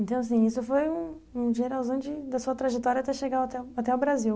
Então, assim, isso foi um um geralzão de da sua trajetória até chegar até o até o Brasil.